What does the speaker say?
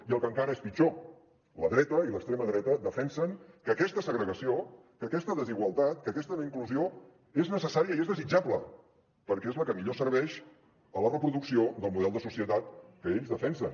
i el que encara és pitjor la dreta i l’extrema dreta defensen que aquesta segregació que aquesta desigualtat que aquesta no inclusió és necessària i és desitjable perquè és la que millor serveix a la reproducció del model de societat que ells defensen